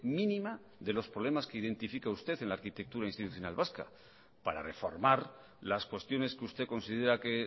mínima de los problemas que identifica usted en la arquitectura institucional vasca para reformar las cuestiones que usted considera que